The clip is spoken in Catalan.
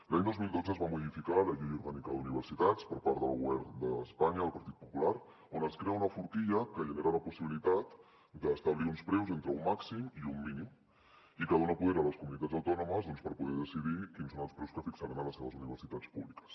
l’any dos mil dotze es va modificar la llei orgànica d’universitats per part del govern d’espanya del partit popular on es crea una forquilla que genera la possibilitat d’establir uns preus entre un màxim i un mínim i que dona poder a les comunitats autònomes doncs per poder decidir quins són els preus que fixaran a les seves universitats públiques